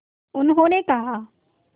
उन्होंने कहा